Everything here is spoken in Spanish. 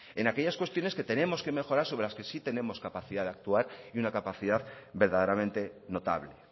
en aquellas cuestiones que tenemos que mejorar sobre las que sí tenemos capacidad de actuar y una capacidad verdaderamente notable